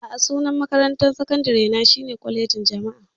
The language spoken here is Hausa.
A'a, sunan makarantar sakandare na shine Kwalejin Jama'a.